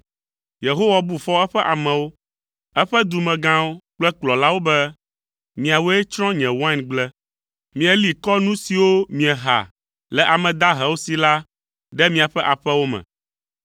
Yehowa bu fɔ eƒe amewo, eƒe dumegãwo kple kplɔlawo be, “Miawoe tsrɔ̃ nye waingble. Mieli kɔ nu siwo mieha le ame dahewo si la ɖe miaƒe aƒewo me.